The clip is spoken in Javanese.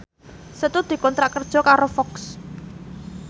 Setu dikontrak kerja karo Fox